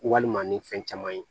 Walima ni fɛn caman ye